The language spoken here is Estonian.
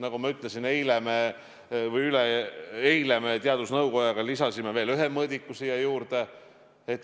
Nagu ma ütlesin, eile me teadusnõukojaga lisasime veel ühe mõõdiku sinna juurde.